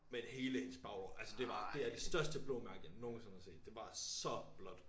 Men hele hendes baglår altså det var det er det største blå mærke jeg nogensinde har set det var så blåt